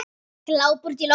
Glápir útí loftið.